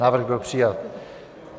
Návrh byl přijat.